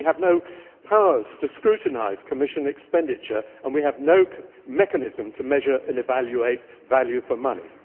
We have no powers to scrutinise Commission expenditure, and we have no mechanism to measure and evaluate value for money.